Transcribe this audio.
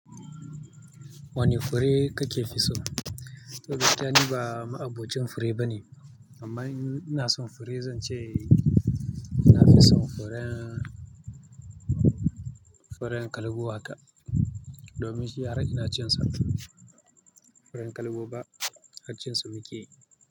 Wane fure kake fi son? To, gaskiya ni ba ma'abocin fure bane. Amma ina son fure, zan ce nafi son furen, furen kalgo haka. Domin shi har ina cin sa. Furen kalgo ba, har cin sa muke yi.